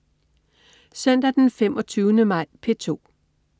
Søndag den 25. maj - P2: